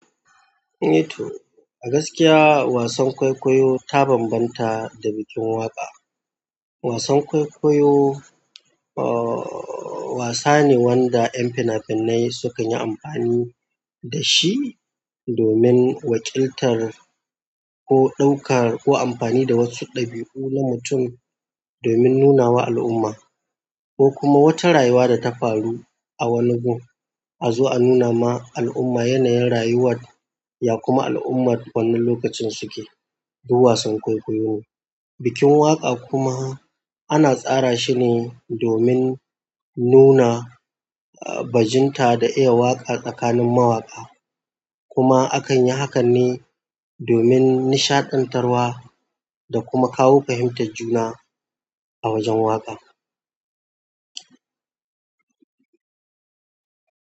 A gaskiya wasan kwaikwayo ta banbanta da bikin waƙa. Wasan kwaikwayo wasa ne wanda ƴan finafinai sukan yi amfani da shi domin wakiltar ko ɗauka ko amfani da wasu ɗabi'u na mutum domin nuna wa al'umma ko kuma wata rayuwa da ta faru a wani gun, a zo a nuna ma al'umma yanayin rayuwar ya kuma al'ummar wannan lokacin suke. Duk wasan kwaikwayo ne. Bikin waƙa kuma ana tsara shi ne domin nuna bajinta da iya waƙa tsakanin mawaka, kuma akan yi hakan ne domin nishaɗantarwa da kuma kawo fahimtar juna a wajen waƙa.